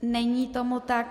Není tomu tak.